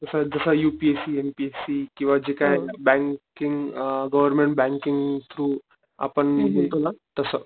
तस जस U P S C ,M P S C किव्हा जे काही बँकिंग गव्हर्मेंट बँकिंग थ्रू आपण देतो ना तस.